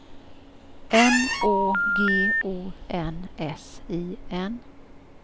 N Å G O N S I N